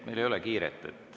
Meil ei ole kiiret.